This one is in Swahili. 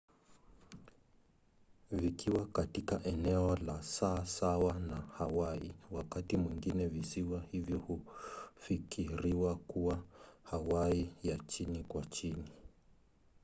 vikiwa katika eneo la saa sawa na hawaii wakati mwingine visiwa hivyo hufikiriwa kuwa hawaii ya chini kwa chini